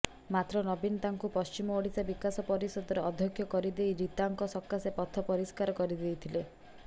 ମାତ୍ର ନବୀନ ତାଙ୍କୁ ପଶ୍ଚିମ ଓଡିଶା ବିକାଶ ପରିଷଦର ଅଧ୍ୟକ୍ଷ କରିଦେଇ ରୀତାଙ୍କ ସକାଶେ ପଥ ପରିଷ୍କାର କରିଦେଇଥିଲେ